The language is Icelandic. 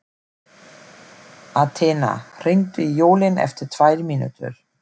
Athena, hringdu í Jólín eftir tvær mínútur.